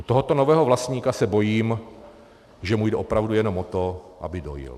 U tohoto nového vlastníka se bojím, že u jde opravdu jenom o to, aby dojil.